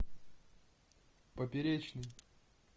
поперечный